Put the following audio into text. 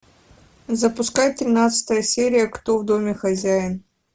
запускай тринадцатая серия кто в доме хозяин